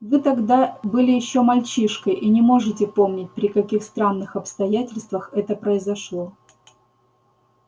вы тогда были ещё мальчишкой и не можете помнить при каких странных обстоятельствах это произошло